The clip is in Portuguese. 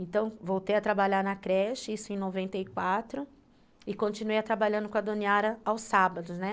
Então, voltei a trabalhar na creche, isso em noventa e quatro, e continuei trabalhando com a Dona Yara aos sábados, né?